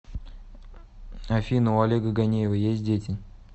афина у олега ганеева есть дети